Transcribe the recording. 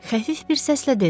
Xəfif bir səslə dedi: